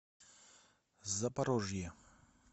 запорожье